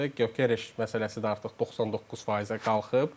Gök Yereş məsələsi də artıq 99%-ə qalxıb.